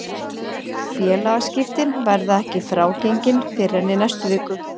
Félagaskiptin verða ekki frágengin fyrr en í næstu viku.